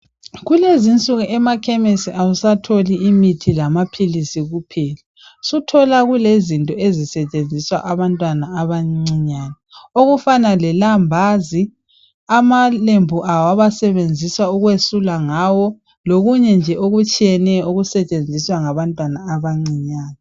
Kulezinsuku ema khemesi awusatholi imithi lamaphilisi kuphela suthola kulezinto ezisetshenziswa abantwana abancinyane okufana le lambazi, amalembu abo abasebenzisa ukwesula ngawo lokunye nje okutshiyeneyo okusetshenziswa ngabantwana abancinyane .